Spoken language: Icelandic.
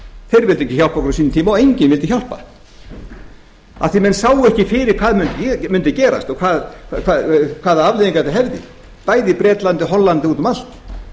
þeir vildu ekki hjálpa okkur á sínum tíma og enginn vildi hjálpa af því að menn sáu ekki fyrir hvað mundi gerast og hvaða afleiðingar þetta hefði bæði í bretlandi og hollandi og úti um allt